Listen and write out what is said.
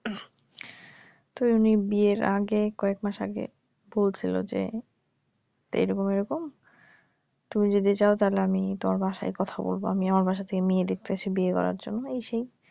তো উনি বিয়ের আগে কয়েক মাস আগে বলছিল যে এই রকম এই রকম তুমি যদি চাও তাহলে আমি তোমার বাসায় কথা বলব আমি আমার বাসা থেকে মেয়ে দেখতাছি বিয়ে করার জন্য এই সেই